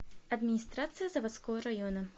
администрация заводского района